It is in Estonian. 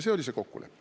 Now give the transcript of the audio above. See oli see kokkulepe.